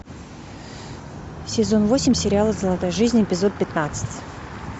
сезон восемь сериала золотая жизнь эпизод пятнадцать